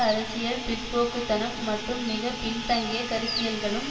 அரசியல் பிற்போக்கு தனம் மற்றும் மிக பின்தங்கிய கருத்தியல்களும்